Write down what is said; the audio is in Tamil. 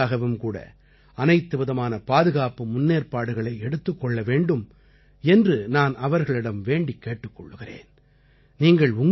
அவர்கள் தங்களுக்காகவும்கூட அனைத்துவிதமான பாதுகாப்பு முன்னேற்பாடுகளை எடுத்துக் கொள்ள வேண்டும் என்று நான் அவர்களிடம் வேண்டிக் கேட்டுக் கொள்கிறேன்